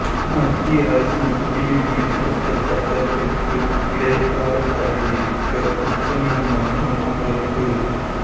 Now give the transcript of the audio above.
மத்திய அரசின் குடியுரிமை திருத்தச் சட்டத்திற்கு இடைக்காலத் தடை விதிக்க உச்சநீதிமன்றம் மறுப்பு